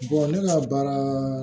ne ka baara